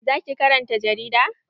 Za ki karanta jarida?